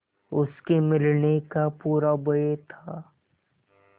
उसके मिलने का पूरा भय था